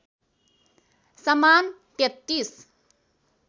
समान ३३